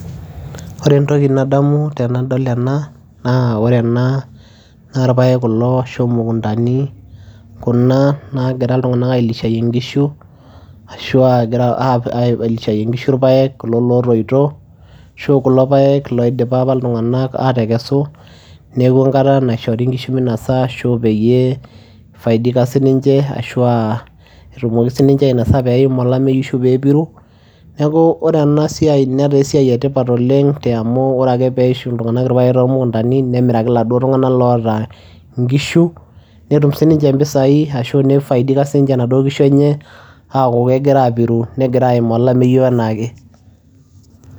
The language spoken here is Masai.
Ore entoki nadamu tenadol ena naa ore ena naa irpaek kulo ashu imukundani kuna naagira iltung'anak ailishayie inkishu ashu aa egira ai ailishayie inkishu irpaek kulo lootoito ashu kulo paek loidipa apa iltung'anak aatekesu, neeku enkata naishori inkishu minasa ashu peyie ifaidika sininche ashu aa etumoki siinche ainasa peim olameyu ashu peepiru. Neeku ore ena siai netaa esiai e tipat oleng' te amu ore ake peishu iltung'anak irpaek too mukundani nemiraki iladuo tung'anak loota inkishu , netum sininche impisai ashu nifaidika siinche inaduo kishu enye aaku kegira aapiru negira aimaa olameyu enaa ake.